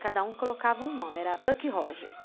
Cada um colocava um nome, era Buck Rogers.